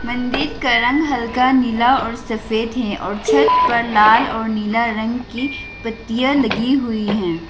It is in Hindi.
मंदिर का रंग हल्का नीला और सफेद है और छत पर लाल और नीला रंग की पट्टियां लगी हुई हैं।